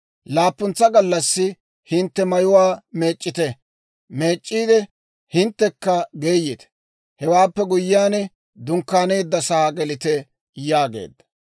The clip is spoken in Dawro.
Laappuntsa gallassi hintte mayuwaa meec'c'ite; hinttekka geeyite. Hewaappe guyyiyaan, dunkkaaneeddasaa gelite» yaageedda.